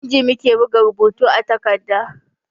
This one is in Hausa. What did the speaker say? Da inji muke buga rubutu a takarda